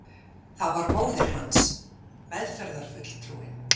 Það var móðir hans, meðferðarfulltrúinn.